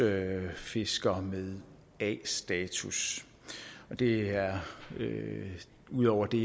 erhvervsfisker med a status det er ud over det